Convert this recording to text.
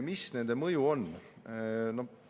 Mis nende mõju on?